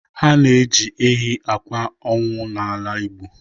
Ha ji ehi akwa ọnwụ n'ala Igbo.